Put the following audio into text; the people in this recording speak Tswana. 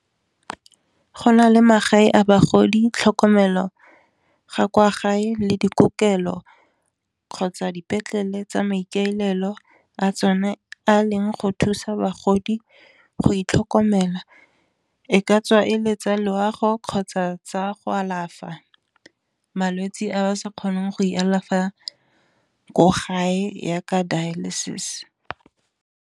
Go na le magae a bagodi tlhokomelo ga kwa gae le dikokelo kgotsa dipetlele tsa maikaelelo a tsone a leng go thusa bagodi go itlhokomela, e ka tswa e letsa loago kgotsa tsa go alafa malwetsi a ba sa kgoneng go e alafa ko gae yaaka dialysis.